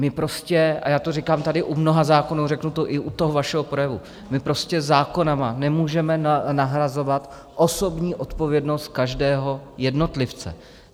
My prostě, a já to říkám tady u mnoha zákonů, řeknu to i u toho vašeho projevu - my prostě zákony nemůžeme nahrazovat osobní odpovědnost každého jednotlivce.